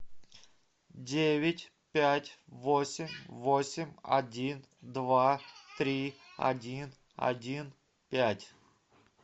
девять пять восемь восемь один два три один один пять